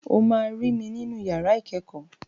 O máa rí mi nínú yàrá ìkẹ́kọ̀ọ́.